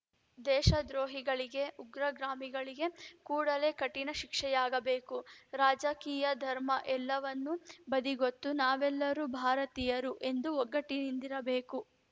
ದೇಶದ್ರೋಹಿಗಳಿಗೆ ಉಗ್ರಗಾಮಿಗಳಿಗೆ ಕೂಡಲೇ ಕಠಿಣ ಶಿಕ್ಷೆಯಾಗಬೇಕು ರಾಜಕೀಯ ಧರ್ಮ ಎಲ್ಲವನ್ನೂ ಬದಿಗೊತ್ತಿ ನಾವೆಲ್ಲರೂ ಭಾರತೀಯರು ಎಂದು ಒಗ್ಗಟ್ಟಿನಿಂದಿರಬೇಕು